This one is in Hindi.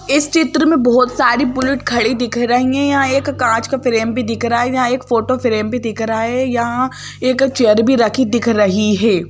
इस चित्र में बहोत सारी बुलेट खड़ी दिख रही है यहां एक कांच का फ्रेम भी दिख रहा है यहां एक फोटो फ्रेम दिख रहा है यहां एक चेयर भी रखी दिख रही है।